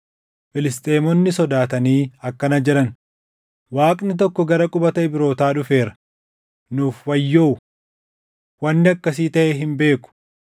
Filisxeemonni sodaatanii akkana jedhan; “Waaqni tokko gara qubata Ibrootaa dhufeera; nuuf wayyoo! Wanni akkasii taʼee hin beeku.